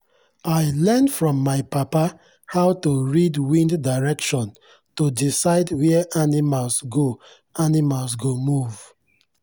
i learn from my papa how to read wind direction to decide where animals go animals go move.